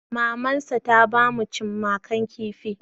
Mamansa ta ba mu cimakan kifi.